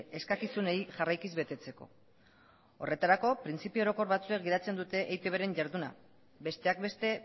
eskakizunei jarraikiz betetzeko horretarako printzipio orokor batzuen gidatzen dute eitbren jarduna besteak beste